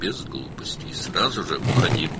Və axmaqlıq etmədən, dərhal get.